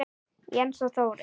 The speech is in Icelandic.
Jens og Þórey.